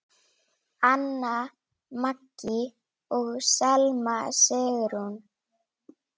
Anna Maggý og Selma Sigrún.